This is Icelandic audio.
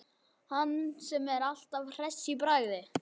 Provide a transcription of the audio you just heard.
Hann sem er alltaf hress í bragði.